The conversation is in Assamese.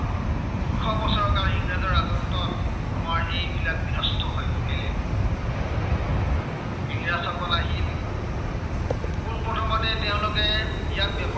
আমাৰ এইবিলাক বিধ্বস্ত হৈ পৰিলে। ইংৰাজসকল আহি পোনপ্ৰথমতে তেঁওলোকে ইয়াত